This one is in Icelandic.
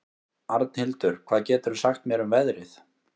Arnhildur, hvað geturðu sagt mér um veðrið?